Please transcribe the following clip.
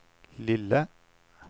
lille